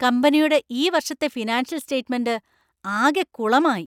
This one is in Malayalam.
കമ്പനിയുടെ ഈ വർഷത്തെ ഫിനാൻഷ്യൽ സ്റ്റേറ്റ്മെൻ്റ് ആകെ കുളമായി .